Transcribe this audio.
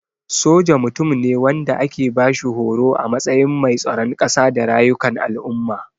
Soja Mutum ne wanda ake bashi horo a matsayin mai tsaron kasa da rayukan al'umma.